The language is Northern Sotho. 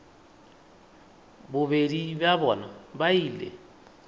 bobedi bja bona ba ile